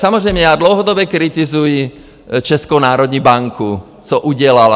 Samozřejmě já dlouhodobě kritizuji Českou národní banku, co udělala.